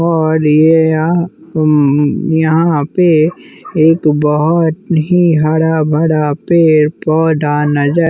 और यह हं हं यहाँ पे एक बहुत ही हरा भरा पेड़ पौधा नजर--